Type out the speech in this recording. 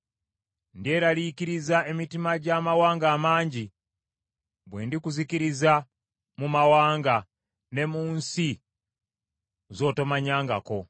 Ndyeraliikiriza emitima gy’amawanga amangi, bwe ndikuzikiriza mu mawanga, ne mu nsi z’otomanyangako.